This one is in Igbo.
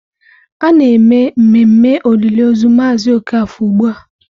A na-eme mmemme olili ozu Mazị Okafor ugbu a.